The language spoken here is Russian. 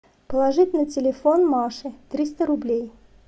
положить на телефон маше триста рублей